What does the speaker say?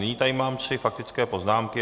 Nyní tu mám tři faktické poznámky.